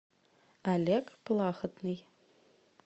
олег плахотный